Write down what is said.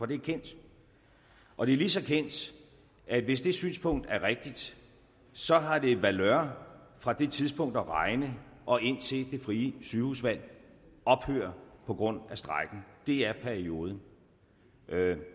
det er kendt og det er lige så kendt at hvis det synspunkt er rigtigt så har det valør fra det tidspunkt at regne og indtil det frie sygehusvalg ophører på grund af strejken det er perioden